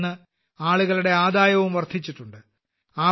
അതിനിൽനിന്ന് ആളുകളുടെ ആദായവും വർദ്ധിച്ചിട്ടുണ്ട്